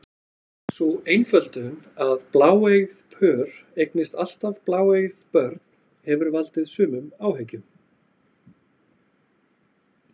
Sú einföldun að bláeygð pör eignist alltaf bláeygð börn hefur valdið sumum áhyggjum.